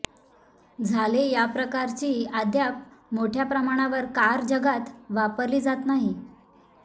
झाले या प्रकारची अद्याप मोठ्या प्रमाणावर कार जगात वापरली जात नाही